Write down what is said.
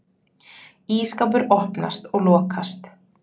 Ísskápur opnast og lokast.